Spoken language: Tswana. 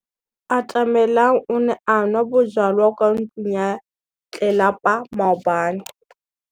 Atamelang o ne a nwa bojwala kwa ntlong ya tlelapa maobane.